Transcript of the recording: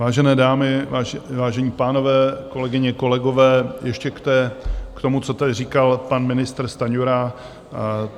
Vážené dámy, vážení pánové, kolegyně, kolegové, ještě k tomu, co tady říkal pan ministr Stanjura.